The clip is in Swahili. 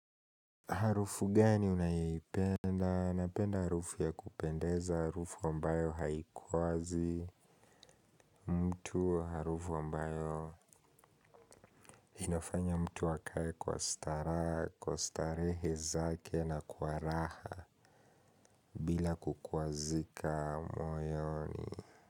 Harufu gani unayipenda, napenda harufu ya kupendeza, harufu ambayo haikwazi, mtu harufu ambayo inafanya mtu akaye kwa stara, kwa starehe zake na kwa raha ila kukwazika moyoni.